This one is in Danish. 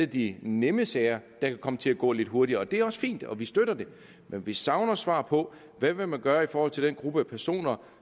de nemme sager kan komme til at gå lidt hurtigere og det er også fint nok og det støtter vi men vi savner et svar på hvad vil man gøre i forhold til den gruppe personer